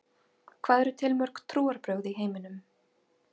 Hvað eru til mörg trúarbrögð í heiminum?